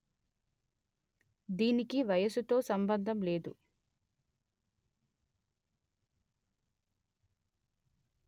దీనికి వయసుతో సంభందం లేదు